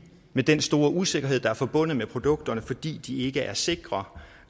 med den store usikkerhed der er forbundet med produkterne fordi de ikke er sikre